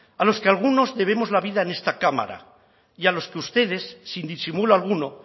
a los que algunos debemos la vida en esta cámara y a los que ustedes sin disimulo alguno